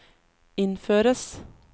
innføres